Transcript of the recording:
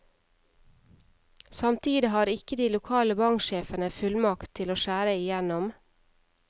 Samtidig har ikke de lokale banksjefene fullmakt til å skjære igjennom.